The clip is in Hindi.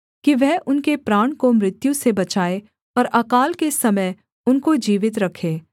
कि वह उनके प्राण को मृत्यु से बचाए और अकाल के समय उनको जीवित रखे